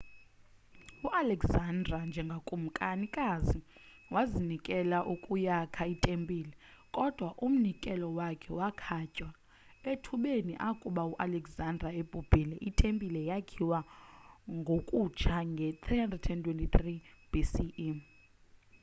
ualexander njengekumkani wazinikela ukuyakha itempile kodwa umnikelo wakhe wakhatywa ethubeni akuba u alexander ebhubhile itempile yakhiwa ngokutsha ngo-323 bce